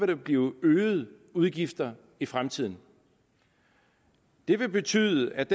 der blive øgede udgifter i fremtiden det vil betyde at